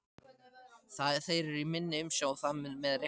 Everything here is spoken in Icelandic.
Þeir eru í minni umsjá og það með réttu.